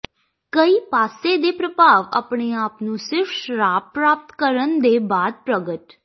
ਕਈ ਪਾਸੇ ਦੇ ਪ੍ਰਭਾਵ ਆਪਣੇ ਆਪ ਨੂੰ ਸਿਰਫ ਸ਼ਰਾਬ ਪ੍ਰਾਪਤ ਕਰਨ ਦੇ ਬਾਅਦ ਪ੍ਰਗਟ